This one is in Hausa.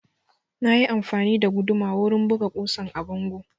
Na yi amfani da guduma wurin buga ƙusan a bango